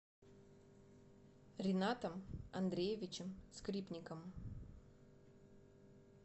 ринатом андреевичем скрипником